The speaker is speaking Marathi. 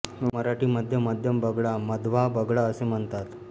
व मराठी मध्ये मध्यम बगळा मध्वा बगळा असे म्हणतात